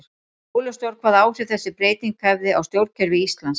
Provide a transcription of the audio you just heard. Óljóst var hvaða áhrif þessi breyting hefði á stjórnkerfi Íslands.